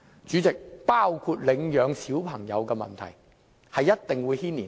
主席，即使是領養兒童的問題也一定會受牽連。